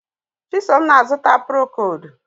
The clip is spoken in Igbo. Chisom na-azụta prokodu